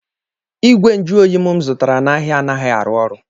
Igwe nju oyi m zụtara n'ahịa anaghị arụ ọrụ.